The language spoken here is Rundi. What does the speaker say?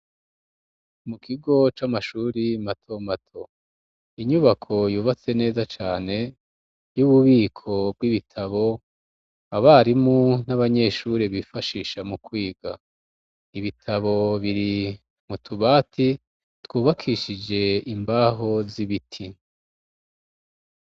Mu kigo c'amashure mato mato, inyubako yubatse neza cane y'ububiko bw'ibitabo abarimu n'abanyeshure bifashisha mu kwiga. Ibitabo biri mu tubati twubakishije imbaho z'ibiti.